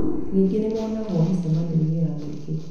Ningĩ nĩmonagwo mĩcemanioinĩ ya mũingĩ